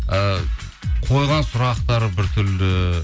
ы қойған сұрақтары бір түрлі